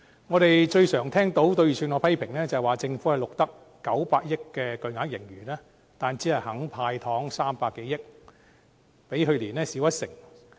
我們最常聽到對預算案的批評，便是政府錄得900億元的巨額盈餘，但只肯"派糖 "300 多億元，較去年少一成。